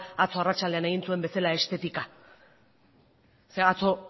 atzo arratsaldean egin zuen bezala estetika zeren eta atzo